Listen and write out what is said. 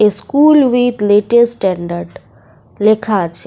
A school with latest standard লেখা আছে।